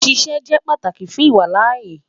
Sise jẹ pataki fun iwalaaye